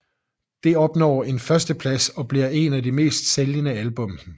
Det opnår en førsteplads og bliver en af de mest sælgende album